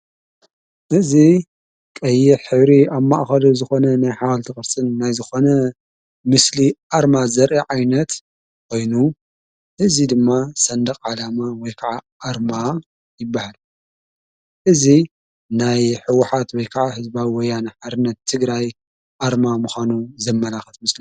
እዚ ቀይሕ ሕብሪ ኣብ ማእኸሉ ዝኾነ ናይ ሓዋልቲ ኽርጽን ናይ ዝኾነ ምስሊ ኣርማ ዘርኢ ዓይነት ኮይኑ እዙ ድማ ሰንድቕ ዓላማ ወይ ከዓ ኣርማ ይበሃል። እዙ ናይ ህዉሓት ወይ ከዓ ሕዝባዊ ወያን ሓርነት ትግራይ ኣርማ ምዃኑ ዘመናኸት ምስሊ እዩ።